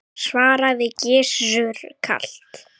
svaraði Gizur kalt.